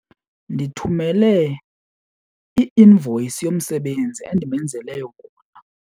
Ndithumele i-invoyisi yomsebenzi endimenzele wona.